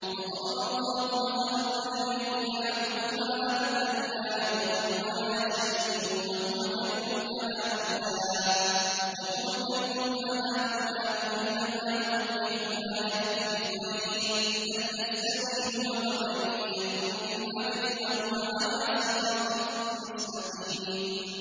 وَضَرَبَ اللَّهُ مَثَلًا رَّجُلَيْنِ أَحَدُهُمَا أَبْكَمُ لَا يَقْدِرُ عَلَىٰ شَيْءٍ وَهُوَ كَلٌّ عَلَىٰ مَوْلَاهُ أَيْنَمَا يُوَجِّههُّ لَا يَأْتِ بِخَيْرٍ ۖ هَلْ يَسْتَوِي هُوَ وَمَن يَأْمُرُ بِالْعَدْلِ ۙ وَهُوَ عَلَىٰ صِرَاطٍ مُّسْتَقِيمٍ